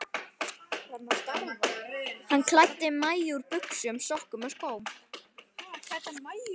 Hann klæddi Maju úr buxum, sokkum og skóm.